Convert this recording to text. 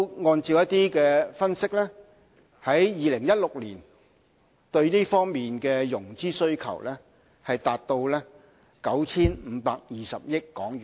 按照分析，在2016年，這方面的融資需求達到 9,520 億元。